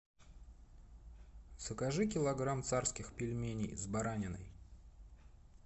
закажи килограмм царских пельменей с бараниной